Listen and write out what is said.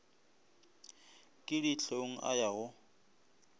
ke dihlong a ya go